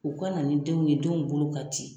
U ka na ni denw ye denw bolo ka ci.